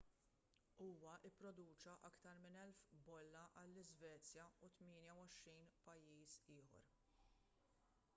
huwa pproduċa aktar minn 1,000 bolla għall-iżvezja u 28 pajjiż ieħor